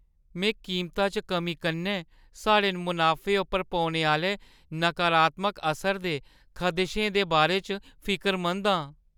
में कीमता च कमी कन्नै साढ़े मुनाफे उप्पर पौने आह्‌ले नकारात्मक असर दे खदशे दे बारे च फिकरमंद आं।